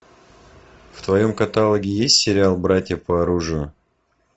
в твоем каталоге есть сериал братья по оружию